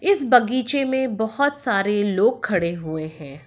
इस बगीचे में बहोत सारे लोग खड़े हुए हैं।